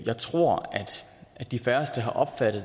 jeg tror at de færreste har opfattet